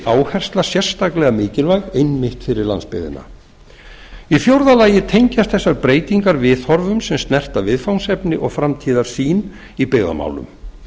áhersla sérstaklega mikilvæg einmitt fyrir landsbyggðina í fjórða lagi tengjast þessar breytingar viðhorfum sem snerta viðfangsefni og framtíðarsýn í byggðamálum